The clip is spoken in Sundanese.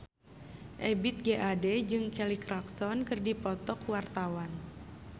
Ebith G. Ade jeung Kelly Clarkson keur dipoto ku wartawan